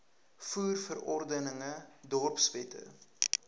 voer verordeninge dorpswette